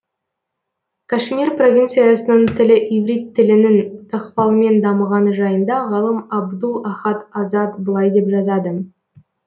кашмир привинциясының тілі иврит тілінің ықпалымен дамығаны жайында ғалым әбдул ахад азад былай деп жазады